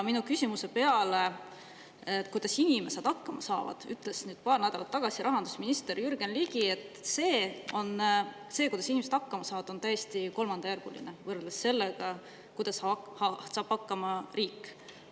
Minu küsimuse peale, kuidas inimesed hakkama peaksid saama, ütles paar nädalat tagasi rahandusminister Jürgen Ligi, et see, kuidas inimesed hakkama saavad, on täiesti kolmandajärguline võrreldes sellega, kuidas saab hakkama riik.